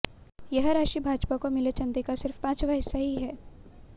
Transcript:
यह राशि भाजपा को मिले चंदे का सिर्फ पांचवा हिस्सा ही है